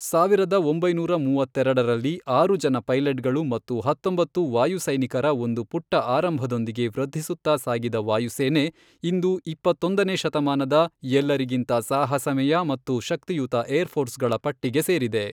ಸಾವಿರದ ಒಂಬೈನೂರ ಮೂವತ್ತೆರೆಡರಲ್ಲಿ, ಆರು ಜನ ಪೈಲಟ್ಗಳು ಮತ್ತು ಹತ್ತೊಂಬತ್ತು ವಾಯು ಸೈನಿಕರ ಒಂದು ಪುಟ್ಟ ಆರಂಭದೊಂದಿಗೆ ವೃದ್ಧಿಸುತ್ತಾ ಸಾಗಿದ ವಾಯುಸೇನೆ ಇಂದು ಇಪ್ಪತ್ತೊಂದನೇ ಶತಮಾನದ ಎಲ್ಲರಿಗಿಂತ ಸಾಹಸಮಯ ಮತ್ತು ಶಕ್ತಿಯುತ ಏರ್ ಫೋರ್ಸ್ಗಳ ಪಟ್ಟಿಗೆ ಸೇರಿದೆ.